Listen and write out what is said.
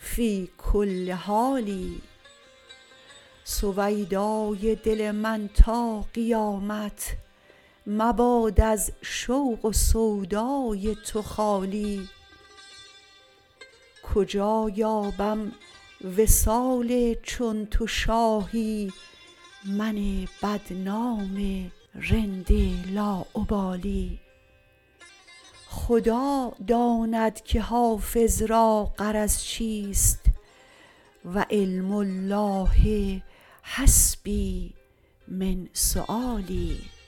فی کل حال سویدای دل من تا قیامت مباد از شوق و سودای تو خالی کجا یابم وصال چون تو شاهی من بدنام رند لاابالی خدا داند که حافظ را غرض چیست و علم الله حسبي من سؤالي